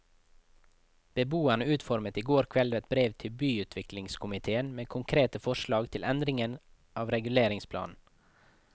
Beboerne utformet i går kveld et brev til byutviklingskomitéen med konkrete forslag til endringer av reguleringsplanen.